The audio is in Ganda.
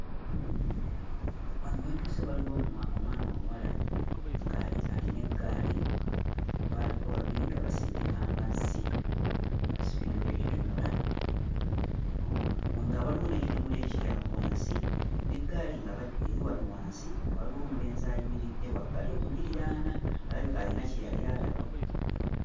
Wano we ntuuse waliwo omwa omwana omuwala ng'ali ng'alina eggaali. Baaliko babiri nga basindika amazzi, basibyeko ekidomola, omu nga waliwo n'ekidomola ekiri awo wansi n'eggaali ng'eri wano wansi, nga waliwo omulenzi ayimiridde wabbali okugiriraana; alabika ayina kye yali alaba.